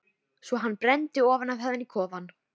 Svo hann brenndi ofan af henni kofann!